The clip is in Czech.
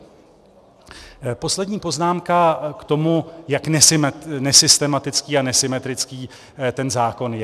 Poslední poznámka k tomu, jak nesystematický a nesymetrický ten zákon je.